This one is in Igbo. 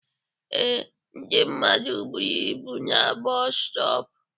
Ee, ndị mmadụ buru ibu na bọọsu stọp